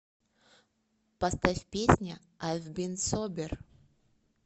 поставь песня айв бин собер